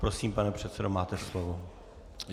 Prosím, pane předsedo, máte slovo.